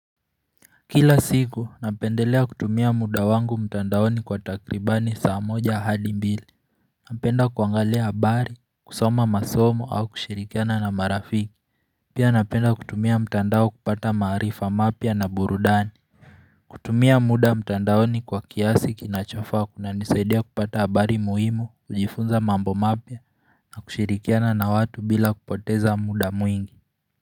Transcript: Kila siku napendelea kutumia muda wangu mtandaoni kwa takribani saa moja hadi mbili Napenda kuangalia habari, kusoma masomo au kushirikiana na marafiki Pia napenda kutumia mtandao kupata maarifa mapya na burudani kutumia muda mtandaoni kwa kiasi kinachofaa kunanisaidia kupata habari muhimu, kujifunza mambo mapya na kushirikiana na watu bila kupoteza muda mwingi.